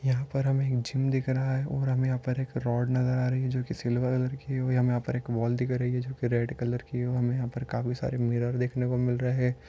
यहाँ पर हमे एक जिम दिख रहा है और हमे यहाँ पर एक रोड नजर आ रही है जो की सिल्वर कलर की है और हमे यहाँ पर एक वाल दिख रही है जो की रेड कलर की है हमे यहाँ पर काफी सारे मिरर देखने को मिल रहे है